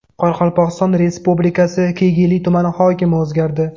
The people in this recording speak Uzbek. Qoraqalpog‘iston Respublikasi Kegeyli tumani hokimi o‘zgardi.